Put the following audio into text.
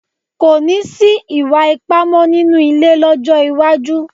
Kò ní sí ìwà ipá mọ́ nínú ilé lọ́jọ́ iwájú